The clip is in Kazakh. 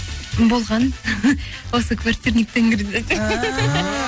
болған осы